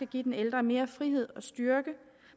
give den ældre mere frihed og styrke